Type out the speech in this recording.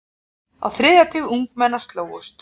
Á þriðja tug ungmenna slógust.